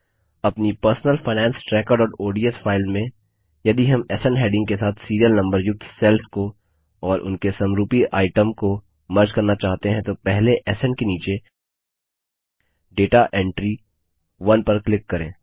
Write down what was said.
अपनी personal finance trackerओडीएस file में यदि हम स्न हैडिंग के साथ सीरियल नम्बर युक्त सेल्स को और उनके समरूपी आइटम को मर्ज करना चाहते हैं तो पहले स्न के नीचे डेटा एंटरी 1 पर क्लिक करें